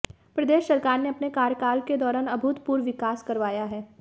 प्रदेश सरकार ने अपने कार्यकाल के दौरान अभूतपूर्व विकास करवाया है